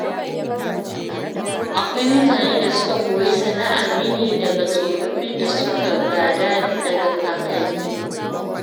Akwai mutane da suka koyi sana'ar rini daga tsofaffin da suka gada daga kakanni.